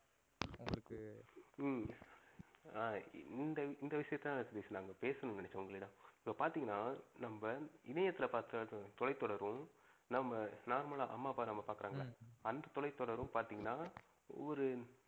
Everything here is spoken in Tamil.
ஆஹ் இந்த விஷயத்த தான் பேசுனாங்க பேசனோம்னு நினைச்சன் உங்களிடம் இப்ப பாத்திங்கனா நம்ப இணையத்துல பாத்த தொலை தொடரும் நம்ப normal ஆ நம்ப அம்மா, அப்பா நாம பாகுறாங்கள அந்த தொலை தொடரும் பாத்திங்கனா ஒரு